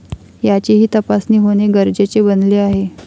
याचीही तपासणी होणे गरजेचे बनले आहे.